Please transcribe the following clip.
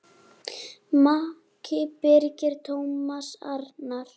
Maki Birgir Tómas Arnar.